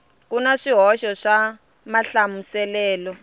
ku na swihoxo swa mahlamuselelo